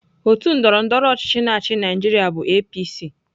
Otu ndọrọndọrọ ọchịchị na-achị Naịjirịa bụ APC.